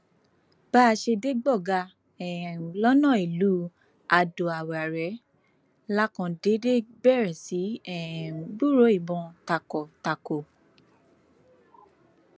bá a ṣe dé gbọgá um lọnà ìlú adoawárẹ la kàn déédé bẹrẹ sí í um gbúròó ìbọn takọtako